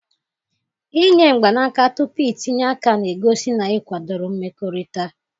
Inye mgbanaka tupu itinye aka na-egosi na ị kwadoro mmekọrịta